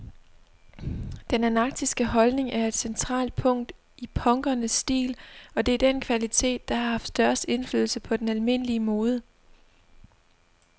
Den anarkistiske holdning er et centralt punkt i punkernes stil, og det er den kvalitet, der har haft størst indflydelse på den almindelige mode.